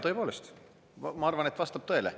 Tõepoolest, ma arvan, et vastab tõele.